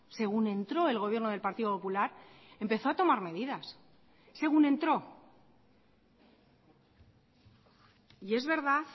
según entró el gobierno del partido popular empezó a tomar medidas según entró y es verdad